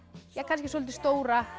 kannski soldið stóra